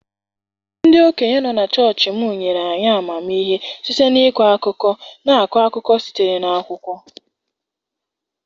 Ndị okenye nọ na chọọchị m nyere anyị amamihe site n'ịkọ akụkọ na-akọ akụkọ sitere na okwukwo.